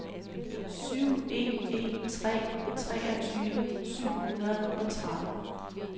syv en en tre treogtyve syv hundrede og tretten